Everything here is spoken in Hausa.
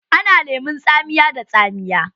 Ana lemon tsamiya da tsamiya.